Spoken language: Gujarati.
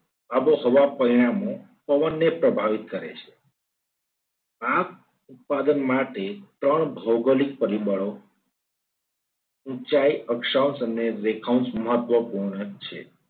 આબોહવા પરિણામો પવનને પ્રભાવિત કરે છે. આ ઉત્પાદન માટે ત્રણ ભૌગોલિક પરિબળો ઊંચાઈ, અક્ષાંશ અને રેખાંસ મહત્વપૂર્ણ છે.